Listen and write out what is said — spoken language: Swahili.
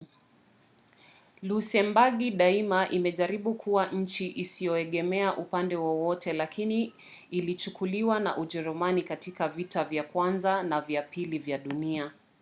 lusembagi daima imejaribu kuwa nchi isiyoegemea upande wowote lakini ilichukuliwa na ujerumani katika vita vya kwanza na vya pili vya dunia